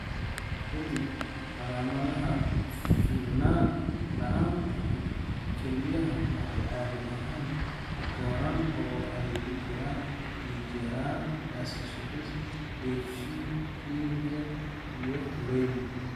Ka dib, calaamadaha ku filnaan la'aanta kelyaha waxay caadi ahaan u koraan oo ay ku jiraan dhiig-yaraan, acidosis dheef-shiid kiimikaad iyo uremia.